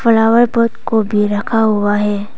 Flower pot को भी रखा हुआ है।